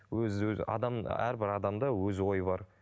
өзі адам әрбір адамда өз ойы бар